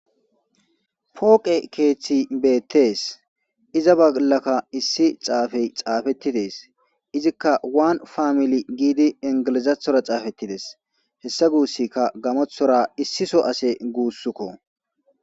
Poqe kethiy betese iza bollaka issi xapey xapeti des izika wani familiy gidi englizathora xapetides hesargusiyka gamothora issi so ase gusuko